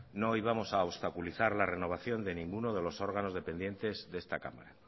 no íbamos a obstaculizar la renovación de ninguno de los órganos dependientes de esta cámara